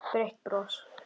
Breitt bros.